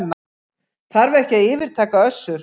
Þarf ekki að yfirtaka Össur